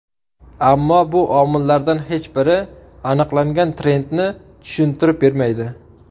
Ammo bu omillardan hech biri aniqlangan trendni tushuntirib bermaydi.